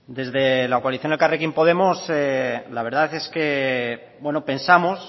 desde la coalición elkarrekin podemos la verdad es que pensamos